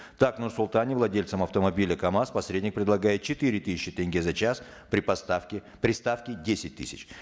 так в нур султане владельцам автомобиля камаз посредник предлагает четыре тысячи тенге за час при поставке при ставке десять тысяч